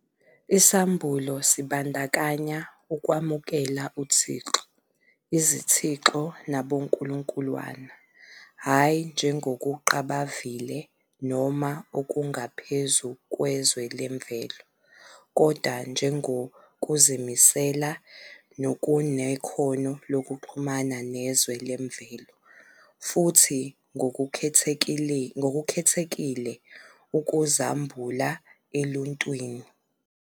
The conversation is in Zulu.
Isambulo sibandakanya ukwamukela uThixo, izithixo nabonkulunkulwana, hhayi njengokuqabavile noma okungaphezu kwezwe lemvelo, kodwa njengokuzimisele nokunekhono lokuxhumana nezwe lemvelo, futhi ngokukhethekile, ukuzambula eluntwini.